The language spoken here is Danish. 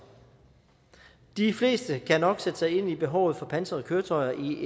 de fleste kan nok sætte sig ind i behovet for pansrede køretøjer i